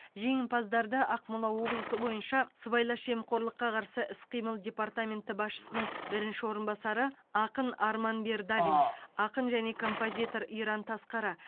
жеңімпаздарды ақмола облысы бойынша сыбайлас жемқорлыққа қарсы іс қимыл департаменті басшысының бірінші орынбасары ақын арман бердалин ақын және композитор иран тасқара